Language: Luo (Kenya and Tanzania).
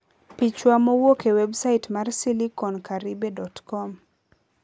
(Picha mowuok e websait mar SiliconCaribe.com)